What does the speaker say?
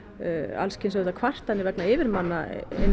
alls kyns kvartanir vegna yfirmanna